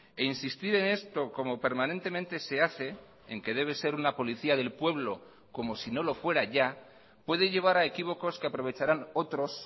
e insistir en esto como permanentemente se hace en que debe ser una policía del pueblo como si no lo fuera ya puede llevar a equívocos que aprovecharán otros